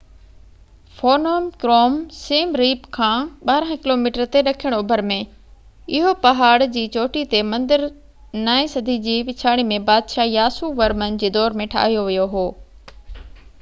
Phnom Krom Siem Reap کان 12 kilometre تي ڏکڻ اوڀر ۾ اهو پهاڙ جي چوٽي تي مندر نائين صدي جي پڇاڙي ۾ بادشاه ياسو ورمن جي دور ۾ ٺاهيو ويو هو